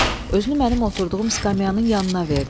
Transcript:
Özünü mənim oturduğum skamyanın yanına verdi.